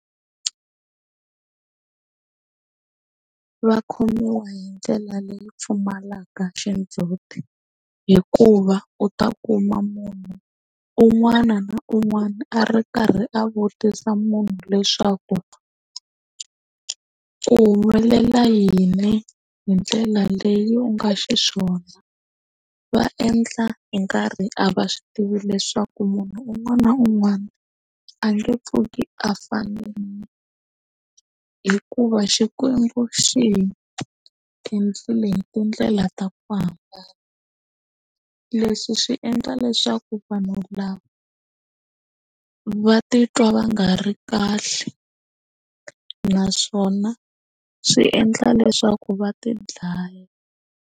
Va khomiwa hi ndlela leyi pfumalaka xindzuti hikuva u ta kuma munhu un'wana na un'wana a ri karhi a vutisa munhu leswaku ku humelela yini hi ndlela leyi u nga xiswona va endla hi nkarhi a va swi tivi leswaku munhu un'wana na un'wana a nge pfuki a fani hikuva xikwembu xi hi endlile tindlela ta ku hambileswi swi endla leswaku vanhu lava va titwa va nga ri kahle naswona swi endla leswaku va ti dlaya.